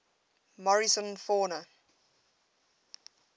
morrison fauna